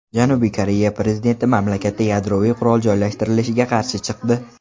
Janubiy Koreya prezidenti mamlakatda yadroviy qurol joylashtirilishiga qarshi chiqdi.